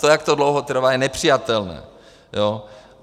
To, jak to dlouho trvá, je nepřijatelné.